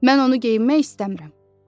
Mən onu geyinmək istəmirəm.